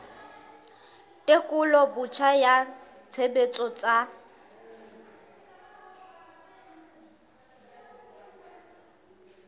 tekolo botjha ya tshebetso tsa